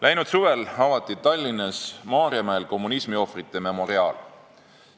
Läinud suvel avati Tallinnas Maarjamäel kommunismiohvrite memoriaal.